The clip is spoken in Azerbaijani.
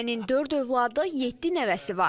Ailənin dörd övladı, yeddi nəvəsi var.